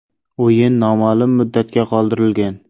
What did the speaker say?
O‘yin noma’lum muddatga qoldirilgan.